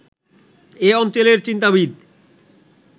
এ অঞ্চলের চিন্তাবিদ